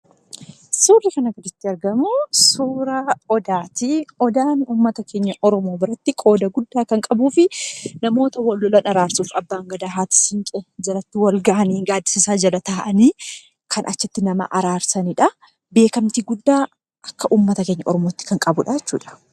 Suurri kana irratti argamu suuraa Odaati. Odaan uummata keenya Oromoo biratti qooda guddaa kan qabuu fi namoota wal lolan araarsuuf Abbaan Gadaa, Haadha Siiqqee itti wal gahanii, gaaddisa isaa jalatti nama araarsaniidha. Beekamtii guddaa akka uummata keenya Oromootti kan qabuudha jechuudha.